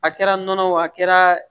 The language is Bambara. A kɛra nɔnɔ wo a kɛra